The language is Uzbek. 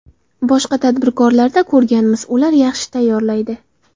Boshqa tadbirkorlarda ko‘rganmiz, ular yaxshi tayyorlaydi.